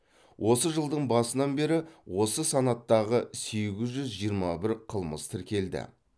осы жылдың басынан бері осы санаттағы сегіз жүз жиырма бір қылмыс тіркелді